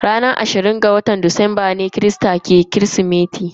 Ranar ashirin da biyar ga watan Disamba ne mabiya christa ke gudanar da bikin kirismeti.